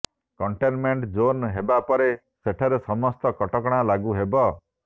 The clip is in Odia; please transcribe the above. କଣ୍ଟେନମେଣ୍ଟ ଜୋନ୍ ହେବା ପରେ ସେଠାରେ ସମସ୍ତ କଟକଣା ଲାଗୁ ହେବ